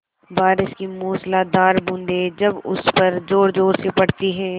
बारिश की मूसलाधार बूँदें जब उस पर ज़ोरज़ोर से पड़ती हैं